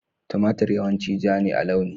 Tumatir yawanci ja ne a launi